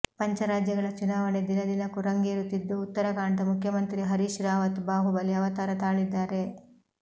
ಪಂಚರಾಜ್ಯಗಳ ಚುನಾವಣೆ ದಿನದಿನಕ್ಕೂ ರಂಗೇರುತ್ತಿದ್ದು ಉತ್ತರಾಖಂಡದ ಮುಖ್ಯಮಂತ್ರಿ ಹರೀಶ್ ರಾವತ್ ಬಾಹುಬಲಿ ಅವತಾರ ತಾಳಿದ್ದಾರೆ